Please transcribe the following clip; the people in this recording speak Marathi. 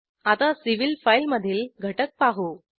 आता सिव्हिल फाईलमधील घटक पाहू